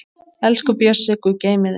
Elsku Bjössi, Guð geymi þig.